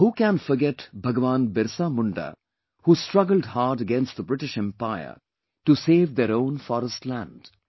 Who can forget BhagwanBirsaMunda who struggled hard against the British Empire to save their own forest land